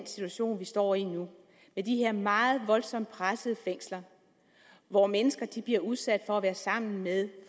situation vi står i nu med de her meget voldsomt pressede fængsler hvor mennesker bliver udsat for at være sammen med